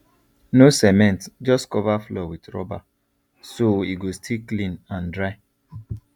no cement just cover floor with rubber so e go still clean and dry